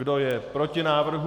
Kdo je proti návrhu?